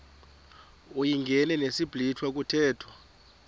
uyingene ngesiblwitha kuthethwa